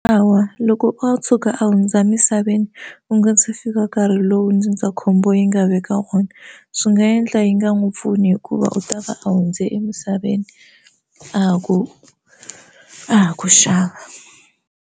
Hawa loko o tshuka a hundza emisaveni u nga se fika nkarhi lowu ndzindzakhombo yi nga veka wona swi nga endla yi nga n'wi pfuna hikuva u ta va a hundze emisaveni a ha ku a ha ku xava.